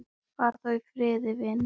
Far þú í friði, vinur.